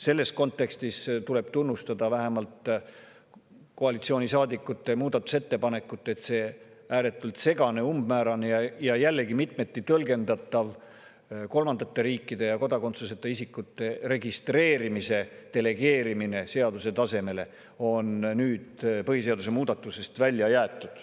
Selles kontekstis tuleb tunnustada koalitsioonisaadikute muudatusettepanekut, et see ääretult segane, umbmäärane ja jällegi mitmeti tõlgendatav kolmandate riikide ja kodakondsuseta isikute registreerimise delegeerimine seaduse tasemele on nüüd põhiseaduse muudatusest välja jäetud.